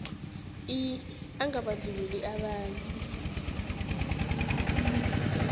i angabandlululi abanye